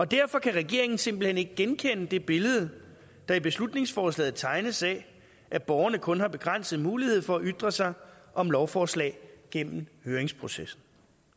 derfor kan regeringen simpelt hen ikke genkende det billede der i beslutningsforslaget tegnes af at borgerne kun har begrænset mulighed for at ytre sig om lovforslag gennem høringsprocessen